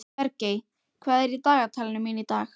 Bergey, hvað er í dagatalinu mínu í dag?